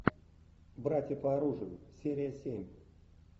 братья по оружию серия семь